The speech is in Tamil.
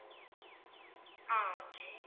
ஆஹ் okay